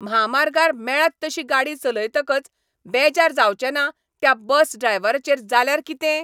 म्हामार्गार मेळत तशी गाडी चलयतकच बेजार जावचें ना त्या बस ड्रायव्हराचेर जाल्यार कितें!